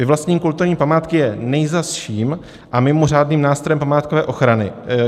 Vyvlastnění kulturní památky je nejzazším a mimořádným nástrojem památkové ochrany.